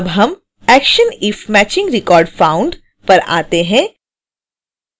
अब हम action if matching record found पर आते हैं